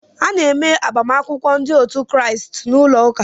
A na-eme agbamakwụkwọ ndị otu Kraịst n'ụlọ ụka.